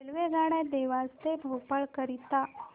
रेल्वेगाड्या देवास ते भोपाळ करीता